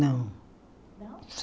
Não. Não